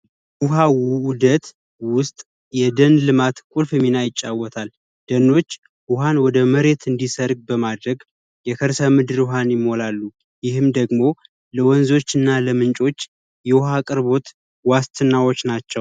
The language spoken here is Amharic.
ውሃ ውህደት ውስጥ የደን ልማት ቁልፍ ሚና ይጫወታል። ደኖች ውሃን ወደመሬት እንዲሰርግ በማድረግ የከርሰ ምድር የከርሰ ምድር ውሃን ይሞላሉ። ይህም ደግሞ ለወንዞች እና ለምንጮች የዉሃ አቅርቦት ዋስትናዎች ናቸው።